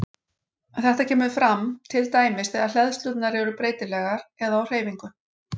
Þetta kemur fram til dæmis þegar hleðslurnar eru breytilegar eða á hreyfingu.